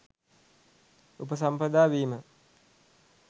උපසම්පදා වීම :